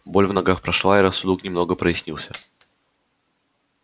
боль в ногах прошла и рассудок немного прояснился